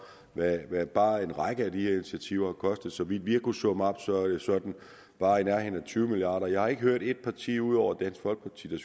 hvad bare en række af disse initiativer vil og så vidt vi har kunnet summe op er det sådan bare i nærheden af tyve milliarder jeg har ikke hørt et eneste parti ud over dansk folkeparti der